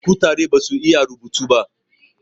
kutare basu iya rubutu ba